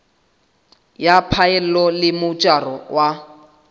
ya phaello le mojaro wa